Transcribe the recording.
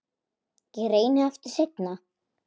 Ég reyni aftur seinna